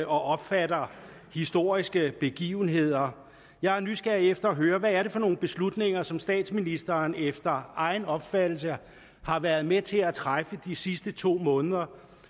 opfatter historiske begivenheder jeg er nysgerrig efter at høre hvad det er for nogle beslutninger som statsministeren efter egen opfattelse har været med til at træffe de sidste to måneder